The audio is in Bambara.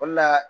O de la